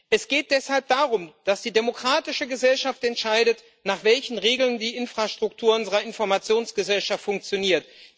Es geht deshalb darum, dass die demokratische Gesellschaft entscheidet, nach welchen Regeln die Infrastruktur unserer Informationsgesellschaft funktioniert.